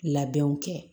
Labɛnw kɛ